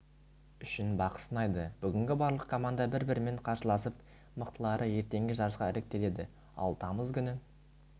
үшін бақ сынайды бүгін барлық команда бір-бірімен қарсыласып мықтылары ертеңгі жарысқа іріктеледі ал тамыз күні